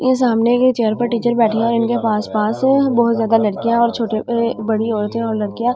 ये सामने के चेयर पर टीचर बैठे हैं और इनके पास-पास बहुत ज्यादा लड़कियां और छोटे बड़ी औरतें और लड़कियां --